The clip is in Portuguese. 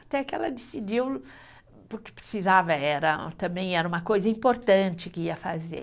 Até que ela decidiu, porque precisava era, também era uma coisa importante que ia fazer.